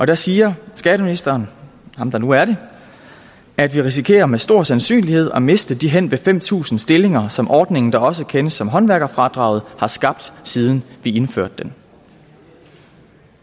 der siger skatteministeren ham der nu er det at vi risikerer med stor sandsynlighed at miste de henved fem tusind stillinger som ordningen der også kendes som håndværkerfradraget har skabt siden vi indførte den